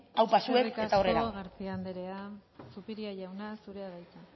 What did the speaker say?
aupa zuek eta aurrera eskerrik asko garcía anderea zupiria jauna zurea da hitza